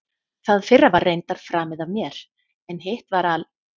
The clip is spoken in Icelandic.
Það fyrra var reyndar framið af mér, en hitt var al